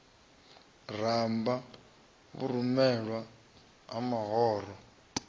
ramba vhurumelwa ha mahoro o